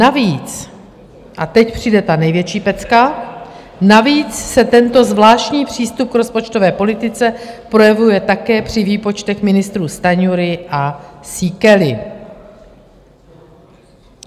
Navíc - a teď přijde ta největší pecka - navíc se tento zvláštní přístup k rozpočtové politice projevuje také při výpočtech ministrů Stanjury a Síkely.